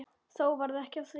Þó varð ekki af því.